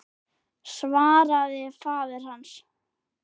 svaraði faðir hans.